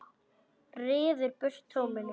Ryður burt tóminu.